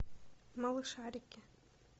малышарики